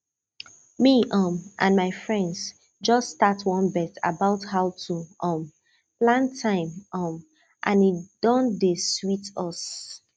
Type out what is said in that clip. me um and my friends just start one bet about how to um plan time um and e don dey sweet us